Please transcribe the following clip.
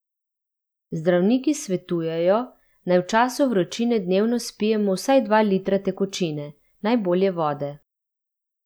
Zdravniki svetujejo, naj v času vročine dnevno spijemo vsaj dva litra tekočine, najbolje vode.